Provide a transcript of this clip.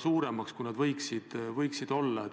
suuremaks, kui need võiksid olla.